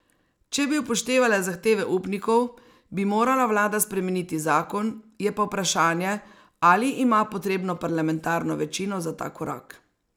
Če bi upoštevala zahteve upnikov, bi morala vlada spremeniti zakon, je pa vprašanje, ali ima potrebno parlamentarno večino za ta korak.